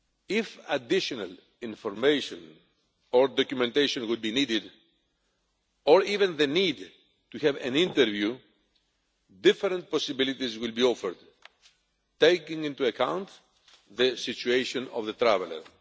If additional information or documentation were to be needed, or even the need to have an interview, different possibilities will be offered, taking into account the situation of the traveller.